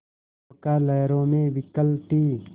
नौका लहरों में विकल थी